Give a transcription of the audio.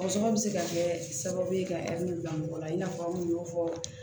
Sɔgɔsɔgɔ bɛ se ka kɛ sababu ye ka bila mɔgɔ la i n'a fɔ an y'o fɔ